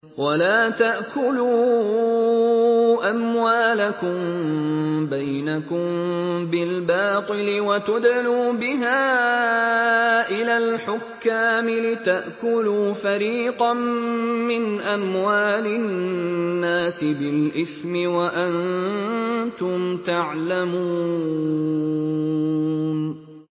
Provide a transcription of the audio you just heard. وَلَا تَأْكُلُوا أَمْوَالَكُم بَيْنَكُم بِالْبَاطِلِ وَتُدْلُوا بِهَا إِلَى الْحُكَّامِ لِتَأْكُلُوا فَرِيقًا مِّنْ أَمْوَالِ النَّاسِ بِالْإِثْمِ وَأَنتُمْ تَعْلَمُونَ